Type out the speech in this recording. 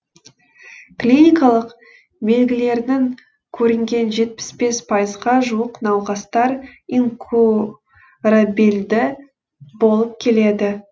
клиникалық белгілерінің көрінген жетпіс бес пайызға жуық науқастар инкурабельді болып келеді